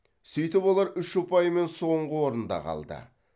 сөйтіп олар үш ұпаймен соңғы орында қалды